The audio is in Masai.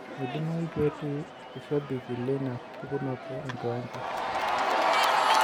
Meidimayu petii ilshabik leina pukunoto enkiwanja